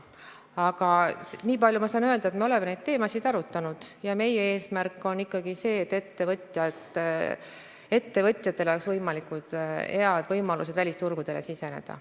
Aga niipalju saan ma öelda, et me oleme neid teemasid arutanud ja meie eesmärk on ikkagi see, et ettevõtjatel oleks võimalikult head võimalused välisturgudele siseneda.